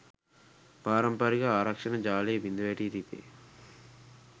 පාරම්පරික ආරක්‍ෂණ ජාලය බිඳ වැටී තිබේ